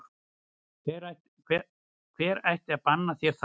Hver ætti að banna þér það?